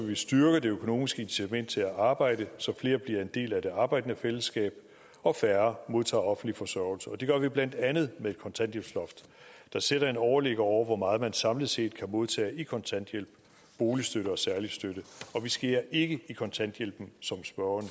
vi styrke det økonomiske incitament til at arbejde så flere bliver en del af det arbejdende fællesskab og færre modtager offentlig forsørgelse det gør vi blandt andet med et kontanthjælpsloft der sætter en overligger over hvor meget man samlet set kan modtage i kontanthjælp boligstøtte og særlig støtte og vi skærer ikke i kontanthjælpen som spørgeren